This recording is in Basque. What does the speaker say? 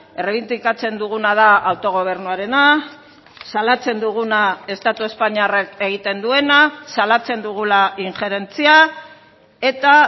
errebindikatzen duguna da autogobernuarena salatzen duguna estatu espainiarrak egiten duena salatzen dugula injerentzia eta